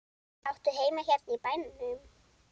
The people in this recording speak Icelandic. Áttu heima hérna í bænum?